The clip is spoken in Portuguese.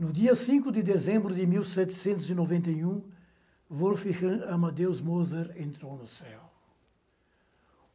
No dia cinco de dezembro de mil setecentos e noventa e um, Wolfgang Amadeus Mozart entrou no céu.